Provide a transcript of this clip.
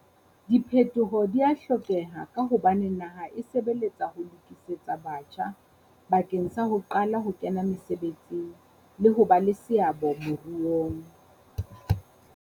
Diphetoho di a hlokeha ka hobane naha e sebeletsa ho lokisetsa batjha bakeng sa ho qala ho kena mesebetsing le ho ba le seabo moruong.